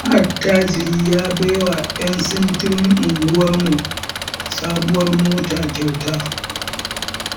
wani attajiri ya baiwa 'yan sintirin unguwarmu sabuwar mota kyauta.